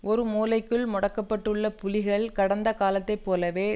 ஒரு மூலைக்குள் முடக்கப்பட்டுள்ள புலிகள் கடந்த காலத்தை போலவே